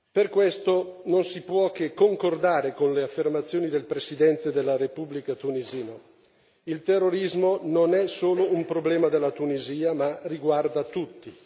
Per questo non si può che concordare con le affermazioni del presidente della Repubblica tunisina il terrorismo non è solo un problema della Tunisia, ma riguarda tutti.